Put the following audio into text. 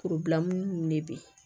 ninnu de bɛ